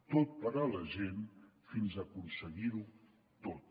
tot per a la gent fins a aconseguir ho tot